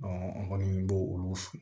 an kɔni b'olu